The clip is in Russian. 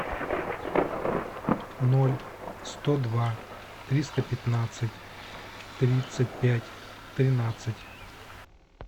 ноль сто два триста пятнадцать тридцать пять тринадцать